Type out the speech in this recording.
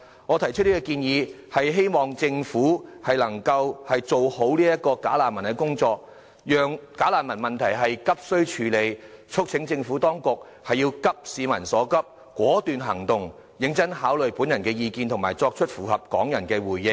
我提出這項建議，是希望政府能夠做好處理"假難民"的工作，急須處理"假難民"問題，促請政府當局急市民所急，果斷行動，認真考慮我的意見和作出符合港人的回應。